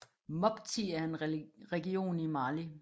Mopti er en region i Mali